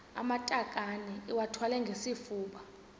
amatakane iwathwale ngesifuba